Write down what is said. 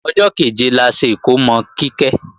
Ọjọ́ kẹ̀jẹ la ṣe ikómò Kíkẹ́